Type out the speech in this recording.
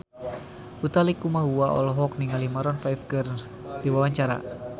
Utha Likumahua olohok ningali Maroon 5 keur diwawancara